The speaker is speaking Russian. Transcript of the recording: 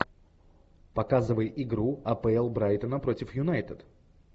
показывай игру апл брайтона против юнайтед